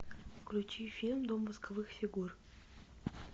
включи фильм дом восковых фигур